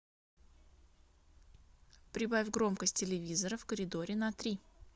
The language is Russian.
прибавь громкость телевизора в коридоре на три